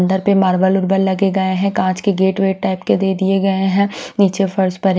अन्दर पे मार्बल वर्बल लगे गये है कांच के गेट वेट टाइप के दे दिए गये है निचे फर्श पर --